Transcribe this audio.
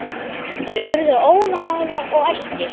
Þeir urðu óðamála og æstir.